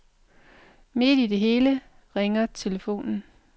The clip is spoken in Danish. Midt i det hele ringer telefonen.